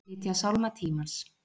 Flytja Sálma tímans